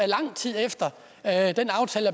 lang tid efter at den aftale